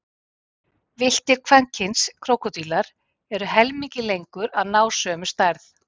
Villtir kvenkyns krókódílar eru helmingi lengur að ná sömu stærð.